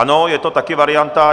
Ano, je to taky varianta.